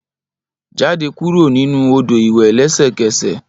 Jade kuro ninu odo iwẹ lẹsẹkẹsẹ!